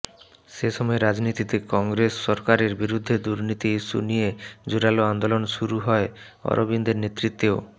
সে সময় রাজধানীতে কংগ্রেস সরকারের বিরুদ্ধে দুর্নীতি ইস্যু নিয়ে জোরালো আন্দোলন শুরু হয় অরবিন্দের নেতৃত্বেও